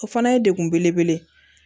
O fana ye degun belebele ye